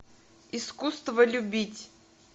искусство любить